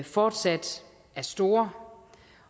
fortsat er store